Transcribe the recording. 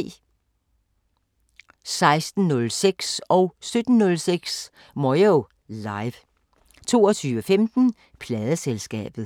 16:06: Moyo Live 17:06: Moyo Live 22:15: Pladeselskabet